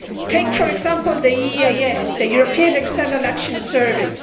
Take for example the EEAS, the European External Action Service.